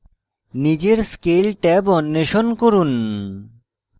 নিজের scale tab অন্বেষণ করুন